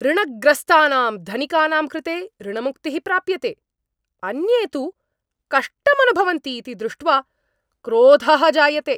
ऋणग्रस्तानां धनिकानां कृते ऋणमुक्तिः प्राप्यते, अन्ये तु कष्टम् अनुभवन्ति इति दृष्ट्वा क्रोधः जायते।